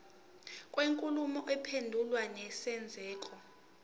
kwenkulumo mpendulwano nesenzeko